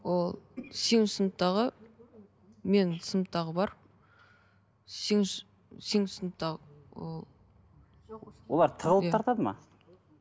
ол сегізінші сыныптағы мен сыныптағы бар сегізінші сегізінші сыныптағы ол олар тығылып тартады ма